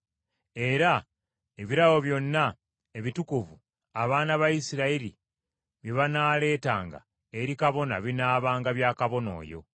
Era ebirabo byonna ebitukuvu abaana ba Isirayiri bye banaaleetanga eri kabona binaabanga bya kabona oyo.